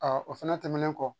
o fɛnɛ tɛmɛnen kɔ